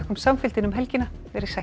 samfylgdina um helgina veriði sæl